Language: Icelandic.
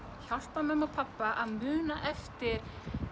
hjálpað mömmu og pabba að muna eftir